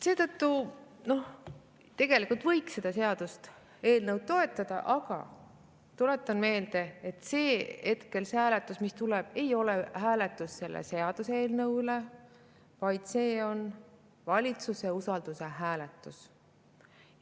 Seetõttu, tegelikult võiks seda seaduseelnõu toetada, aga tuletan meelde, et hetkel see hääletus, mis tuleb, ei ole mitte hääletus selle seaduseelnõu üle, vaid see on valitsuse usalduse küsimus.